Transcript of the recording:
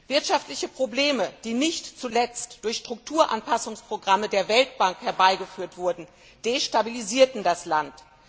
Wirtschaftliche Probleme, die nicht zuletzt durch Strukturanpassungsprogramme der Weltbank herbeigeführt wurden, destabilisierten das Land.